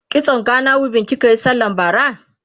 kitson Gana weaving kikayi sallan bara?